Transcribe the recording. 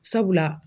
Sabula